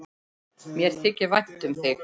Mér þykir vænt um þig.